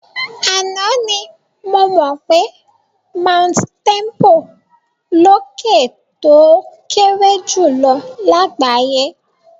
Àná ni mo mọ̀ pé Mount Tempo lòkè tó kéré jùlọ lágbàáyé.